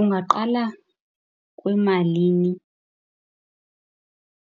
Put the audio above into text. Ungaqala kwimalini